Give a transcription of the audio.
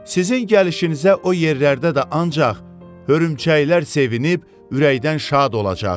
Sizin gəlişinizə o yerlərdə də ancaq hörümçəklər sevinib ürəkdən şad olacaq.